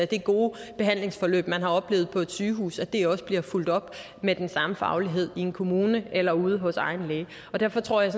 det gode behandlingsforløb man har oplevet på et sygehus altså at det også bliver fulgt op med den samme faglighed i en kommune eller ude hos egen læge og derfor tror jeg